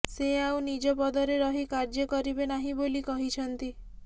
ସେ ଆଉ ନିଜ ପଦରେ ରହି କାର୍ଯ୍ୟ କରିବେ ନାହିଁ ବୋଲି କହିଛନ୍ତି